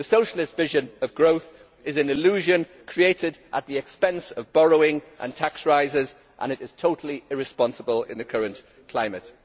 The socialist vision of growth is an illusion created at the expense of borrowing and tax rises, and it is totally irresponsible in the current climate.